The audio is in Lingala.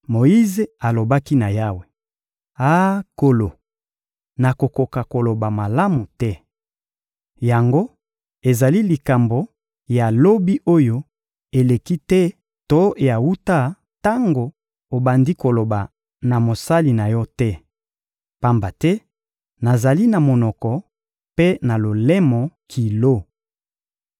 Moyize alobaki na Yawe: — Ah, Nkolo, nakokaka koloba malamu te! Yango ezali likambo ya lobi oyo eleki te to ya wuta tango obandi koloba na mosali na Yo te, pamba te nazali na monoko mpe na lolemo kilo.